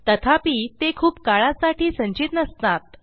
तथापि ते खूप काळासाठी संचित नसतात